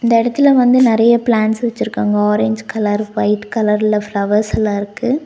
இந்த எடத்துல வந்து நெறைய பிளான்ட்ஸ் வச்சுருக்காங்க ஆரஞ்சு கலர் ஒயிட் கலர்ல ஃபிளவர்ஸ் எல்லா இருக்கு.